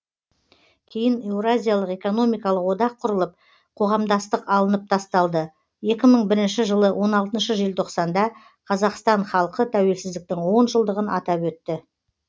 кейін еуразиялық экономикалық одақ құрылып қоғамдастық алынып тасталды екі мың бірінші жылы он алтыншы желтоқсанда қазақстан халқы тәуелсіздіктің он жылдығын атап өтті